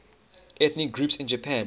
ethnic groups in japan